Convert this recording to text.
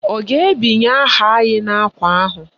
Ọ ga-ebinye aha anyị n'ákwà ahụ?